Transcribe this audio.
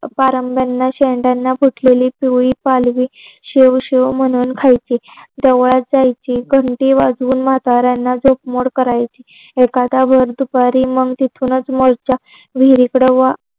पारंब्यांना शेंडाना फुटलेली पिवळी पालवी शेव शेव म्ह्णून खायचे देवळात जायचे घंटी वाजवून म्हाताऱ्याना झोप मोड करायचे एखाद्या वेळी दुपारी मग तिथूनच मधच्या विहिरीकडं